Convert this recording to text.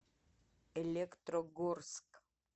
электрогорск